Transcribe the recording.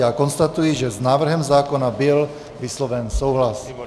Já konstatuji, že s návrhem zákona byl vysloven souhlas.